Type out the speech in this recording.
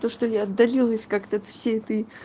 то что я отдалилась как-то от всей этой